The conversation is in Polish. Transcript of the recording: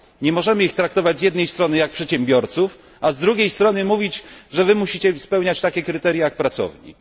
Nie możemy ich traktować z jednej strony jak przedsiębiorców, a z drugiej strony mówić, że muszą oni spełniać takie kryteria jak pracownik.